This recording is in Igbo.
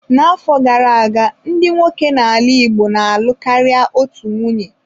N'afọ gara aga, ndị nwoke n'ala Igbo na-alụ karịa otu nwunye.